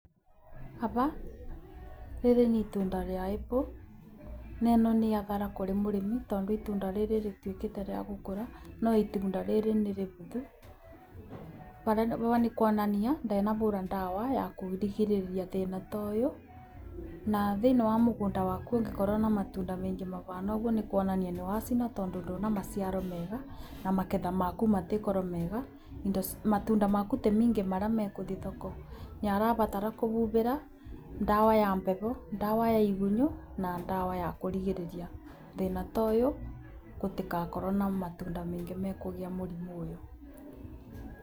Aba rĩrĩ nĩ itunda rĩa apple na ĩno nĩ athara kurĩ mũrĩmi tondũ itunda rĩrĩ rĩtuĩkĩte rĩa gukũra no itũnda riri nĩ rĩbuthu. Aba nĩ kuonania ndanabura ndawa ya kũrigĩriria thĩna ta ũyũ na thĩinĩ wa mũgũnda waku ũngĩkorwo na mtunda maingĩ mabana ũguo nĩ kuonania nĩ wacina tondũ ndũĩ na maciaro mega na magetha maku matiĩkorwo mega matunda maku ti maingĩ marĩa megũthiĩ thoko. Nĩ arabatara kũbũbĩra ndawa ya mbegũ, ndawa ya igunyũ na ndawa ya kũrigĩriria thĩna ta ũyũ gũtigakorwo na matunda maingĩ mekũgĩa mũrimũ ũyũ.